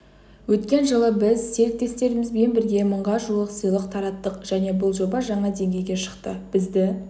өткен жылы біз серіктестерімізбен бірге мыңға жуық сыйлық тараттық және бұл жоба жаңа деңгейге шықты бізді